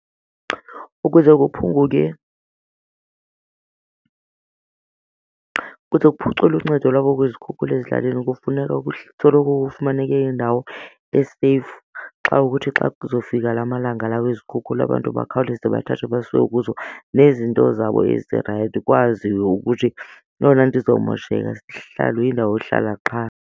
Ukuze kuphunguke, kuze kuphuculwe uncedo lwabo kwizikhukhula ezilalini kufuneka kusoloko kufumaneke indawo e-safe xa kukuthi xa kuzofika la malanga la wezikhukhula abantu bakhawuleze bathathwe basiwe kuzo nezinto zabo ezirayithi kwaziwe ukuthi eyona nto izawumosheka sisihlalo, yindawo yohlala qha.